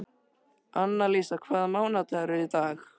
Annalísa, hvaða mánaðardagur er í dag?